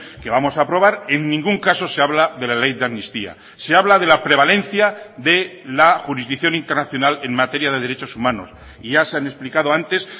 que vamos a aprobar en ningún caso se habla de la ley de amnistía se habla de la prevalencia de la jurisdicción internacional en materia de derechos humanos y ya se han explicado antes